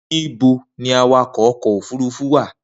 Nibo ni awakọ ọkọ ofurufu wa?